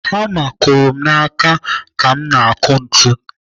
Hama kụrụ m n'aka ka m na-akụ ntu.